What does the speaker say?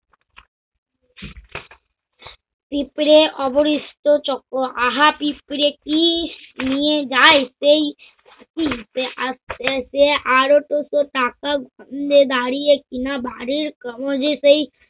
পিঁপড়ে অবোরিস্ট চক্র আহা পিঁপড়ে কি নিয়ে যায়? দেখি সে আরও দুটো টাকা দাড়িয়ে কিনা বাড়ির কাগজে সেই